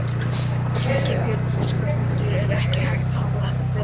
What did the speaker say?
Ingibjörg Óskarsdóttir: Er ekki hægt að hafa þetta betra?